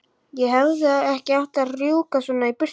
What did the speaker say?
Ég hefði ekki átt að rjúka svona í burtu.